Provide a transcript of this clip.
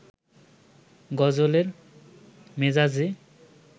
গজলের মেজাজে